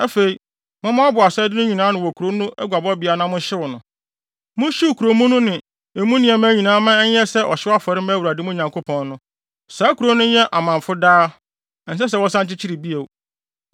Afei, mommoaboa asade no nyinaa ano wɔ kurow no aguabɔbea na monhyew no. Monhyew kurow mu no ne emu nneɛma nyinaa mma ɛnyɛ sɛ ɔhyew afɔre mma Awurade, mo Nyankopɔn no. Saa kurow no nyɛ amamfo daa; ɛnsɛ sɛ wɔsan kyekyere bio.